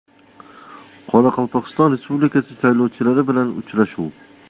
Qoraqalpog‘iston Respublikasi saylovchilari bilan uchrashuv.